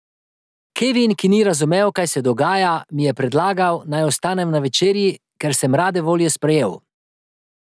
Kevin, ki ni razumel, kaj se dogaja, mi je predlagal, naj ostanem na večerji, kar sem rade volje sprejel.